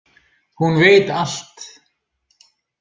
Hún veit allt